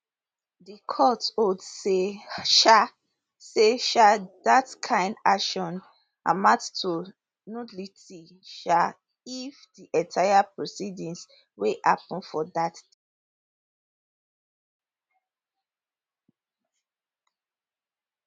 di court hold say um say um dat kain action amount to nullity um of di entire proceedings wey happun for dat